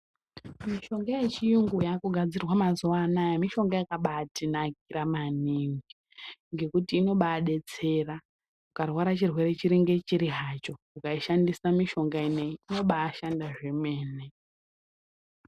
Mishonga yechiyungu yakugadzirwa mazuwa anaya mishonga yakabatinakira maningi ngekuti inobadetsera ukarwara chirwere chiri ngechiri hacho ukaishandisa mishonga ineyi inobashanda zvemene.